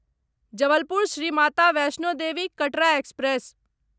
Jabalpur Shri Mata Vaishno Devi Katra express